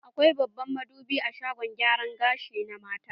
Akwai babban madubi a shagon gyaran gashi na mata.